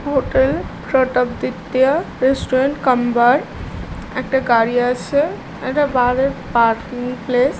Hotel Pratapaditya restaurant cum bar একটা গাড়ি আছে একটা বাড় এর পার্কিং প্লেস ।